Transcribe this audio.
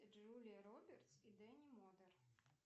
джулия робертс и дэнни модер